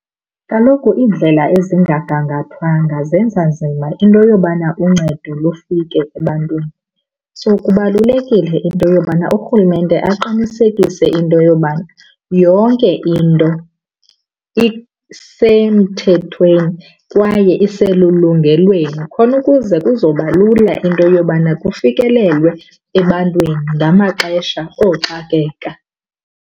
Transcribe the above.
Kaloku iindlela ezingagangathwanga zenza nzima into yobana uncedo lufike ebantwini. So kubalulekile into yobana urhulumente aqinisekise into yobana yonke into isemthethweni kwaye iselulungelweni khona ukuze kuzoba lula into yobana kufikelelwe ebantwini ngamaxesha ooxakeka.